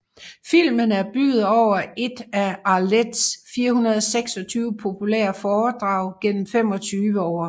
Filmen er bygget over et af Arlettes 426 populære foredrag gennem 25 år